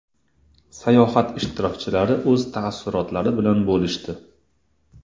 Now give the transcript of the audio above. Sayohat ishtirokchilari o‘z taassurotlari bilan bo‘lishdi .